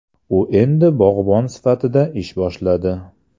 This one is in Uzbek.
U endi bog‘bon sifatida ish boshladi.